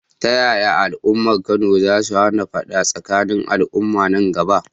Ta yaya al’ummar Kano za su hana fada tsakanin al’umma a nan gaba?